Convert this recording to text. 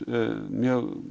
mjög